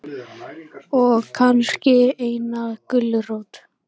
Og kannski eina gulrót.